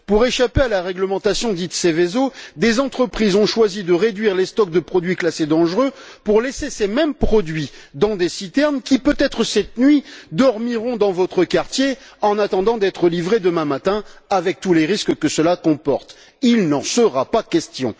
Pour échapper à la réglementation dite Seveso, des entreprises ont choisi de réduire les stocks de produits classés dangereux pour laisser ces mêmes produits dans des citernes qui, peut être cette nuit, dormiront dans votre quartier, en attendant d'être livrées demain matin avec tous les risques que cela comporte. Il n'en sera pas question.